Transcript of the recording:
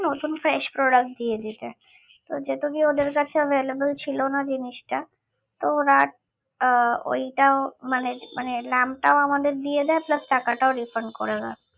নতুন fresh product দিয়ে দিতে তো যেহেতু ওদের কাছে available ছিল না জিনিসটা তো ওরা আহ ঐটাও মানে মানে lamp টাও আমাদের দিয়ে দেয় plus টাকাটাও refund করে দেয়